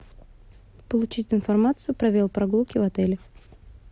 получить информацию про велопрогулки в отеле